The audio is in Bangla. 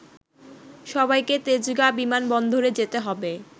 সবাইকে তেজগাঁ বিমানবন্দরে যেতে হবে